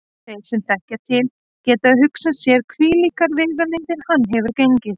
Þeir sem til þekkja geta hugsað sér hvílíkar vegalengdir hann hefur gengið.